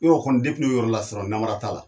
E y'ɔ kɔni depi n'i o yɔrɔ lasɔrɔ namara t'a la.